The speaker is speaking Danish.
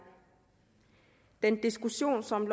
den diskussion som